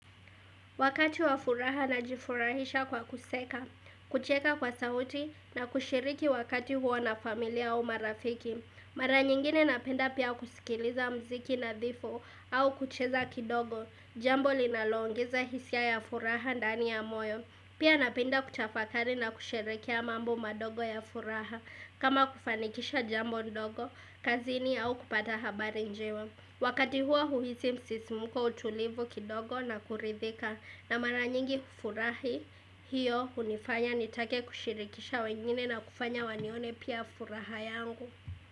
Wakati wa furaha na jifurahisha kwa kuseka, kucheka kwa sauti na kushiriki wakati huo na familia au marafiki. Mara nyingine napenda pia kusikiliza mziki na dhifu au kucheza kidogo. Jambo linaloongeza hisia ya furaha ndani ya moyo. Pia napenda kutafakari na kusherekea mambo madogo ya furaha. Kama kufanikisha jambo ndogo, kazini au kupata habari njewe. Wakati huo huhisi msisimuko utulivu kidogo na kuridhika. Na mara nyingi hufurahi hiyo unifanya nitake kushirikisha wengine na kufanya wanione pia furaha yangu.